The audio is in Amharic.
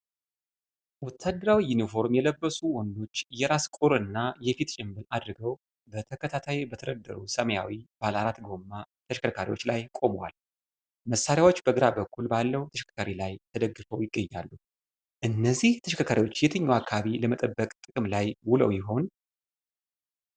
ወታደራዊ ዩኒፎርም የለበሱ ወንዶች የራስ ቁር እና የፊት ጭንብል አድርገው በተከታታይ በተደረደሩ ሰማያዊ ባለአራት ጎማ ተሽከርካሪዎች ላይ ቆመዋል። መሣሪያዎች በግራ በኩል ባለው ተሽከርካሪ ላይ ተደግፈው ይገኛሉ። እነዚህ ተሽከርካሪዎች የትኛውን አካባቢ ለመጠበቅ ጥቅም ላይ ውለው ይሆን?